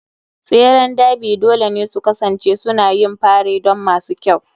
tseren Derby dole ne su kasance suna yin fare don masu kyau.